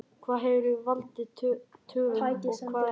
Hvað hefur valdið töfum og hvað ekki?